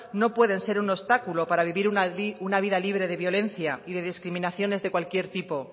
no pueden ser un obstáculo para vivir una vida libre de violencia y de discriminaciones de cualquier tipo